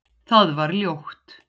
Það var ljótt.